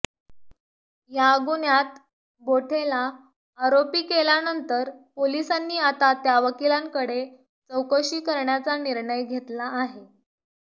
या गुन्ह्यात बोठेला आरोपी केल्यानंतर पोलिसांनी आता त्या वकीलांकडे चौकशी करण्याचा निर्णय घेतला आहे